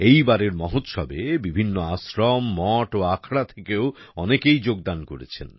এইবারের মহোৎসবে বিভিন্ন আশ্রম মঠ ও আখড়া থেকেও অনেকেই যোগদান করেছেন